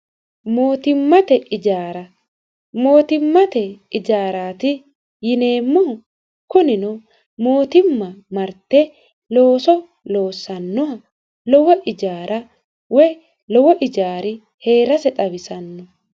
mootimmate ijaara. mootimmate ijaaraati yineemmohu kunino mootimma marte looso loossannoha lowo ijaara woy lowo ijaari hee'rase xawisanno